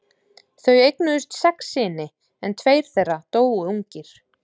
Þau eignuðust sex syni en tveir þeirra dóu ungir.